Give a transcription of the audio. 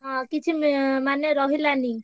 ହଁ କିଛି ~ମେ ମାନେ ରହିଲାନି।